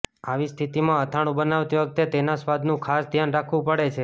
આવી સ્થિતિમાં અથાણું બનાવતી વખતે તેના સ્વાદનું ખાસ ધ્યાન રાખવું પડે છે